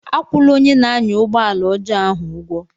Akwụla onye na-anya ụgbọ ala ọjọọ ahu ụgwọ!